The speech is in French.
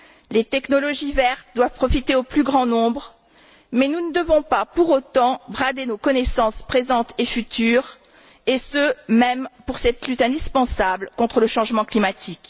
Les technologies vertes doivent profiter au plus grand nombre, mais nous ne devons pas pour autant brader nos connaissances présentes et futures et ce, même pour cette lutte indispensable contre le changement climatique.